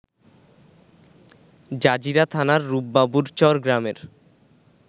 Jazeera থানার রুপবাবুরচর গ্রামের